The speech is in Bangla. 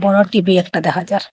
গর টি_বি একটা দেখা যার ।